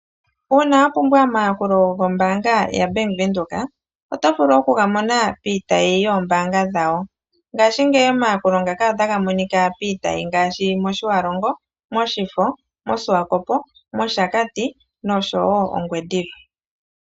Uuna wa pumbwa omayakulo gokombaanga yaBank Windhoek, oto vulu okugamona piitayi yoombaanga dhayo. Ngaashingeyi omayakulo ngaka otaga monika piitayi ngaashi mOtjiwarongo, mOshifo, mOshiwakopo, mOshakati nosho woo Ongwediva.